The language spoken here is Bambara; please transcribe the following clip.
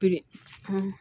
Piri